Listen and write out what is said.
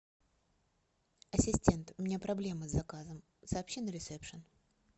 ассистент у меня проблема с заказом сообщи на рецепшен